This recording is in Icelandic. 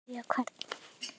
Spyrja hvern?